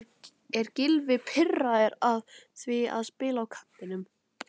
Er Gylfi pirraður á því að spila á kantinum?